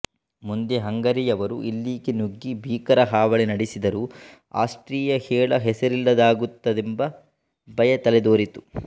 ಮುಂದೆ ಹಂಗರಿಯವರು ಇಲ್ಲಿಗೆ ನುಗ್ಗಿ ಭೀಕರ ಹಾವಳಿ ನಡೆಸಿದರು ಆಸ್ಟ್ರಿಯ ಹೇಳ ಹೆಸರಿಲ್ಲದಾಗುತ್ತದೆಂಬ ಭಯ ತಲೆದೋರಿತು